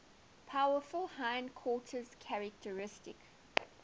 powerful hindquarters characteristic